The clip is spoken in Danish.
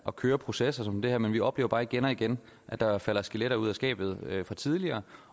at køre processer som dem her men vi oplever bare igen og igen at der falder skeletter ud af skabet fra tidligere